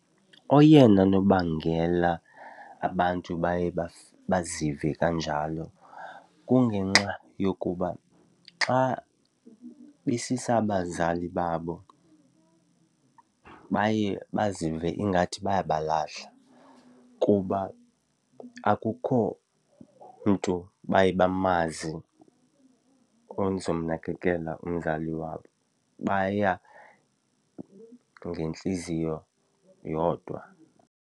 Oyena nobangela abantu baye bazive kanjalo kungenxa yokuba xa besisa abazali babo baye bazive ingathi bayabalahla kuba akukho mntu baye bamazi ozomnakekela umzali wabo, baya ngentliziyo yodwa.